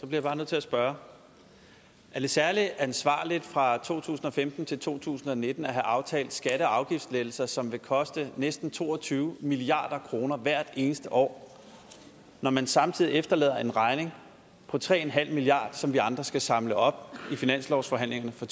jeg bare nødt til at spørge er det særlig ansvarligt fra to tusind og femten til to tusind og nitten at have aftalt skatte og afgiftslettelser som vil koste næsten to og tyve milliard kroner hvert eneste år når man samtidig efterlader en regning på tre milliard kr som vi andre skal samle op i finanslovsforhandlingerne for